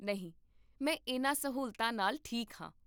ਨਹੀਂ, ਮੈਂ ਇਹਨਾਂ ਸਹੂਲਤਾਂ ਨਾਲ ਠੀਕ ਹਾਂ